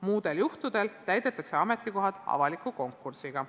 Muudel juhtudel täidetakse ametikohad avaliku konkursiga.